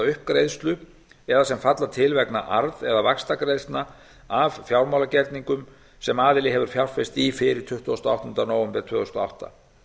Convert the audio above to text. uppgreiðslu eða sem falla til vegna arð eða vaxtagreiðslna af fjármálagerningum sem aðili hefur fjárfest í fyrir tuttugasta og áttunda nóvember tvö þúsund og átta